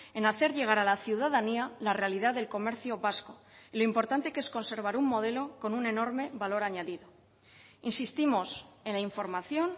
en hacer llegar a la ciudadanía la realidad del comercio vasco y lo importante que es conservar un modelo con un enorme valor añadido insistimos en la información